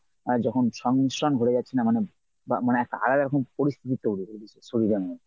আহ যখন সংমিশ্রণ ঘটে যাচ্ছে না মানে বা মানে একটা পরিস্থিতি তৈরি হয়েছে শরীরের জন্যে।